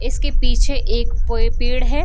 इसके पीछे एक पोए पेड़ है।